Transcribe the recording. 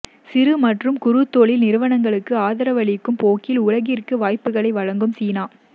சிறு மற்றும் குறுந்தொழில் நிறுவனங்களுக்கு ஆதரவளிக்கும் போக்கில் உலகிற்கும் வாய்ப்புகளை வழங்கும் சீனா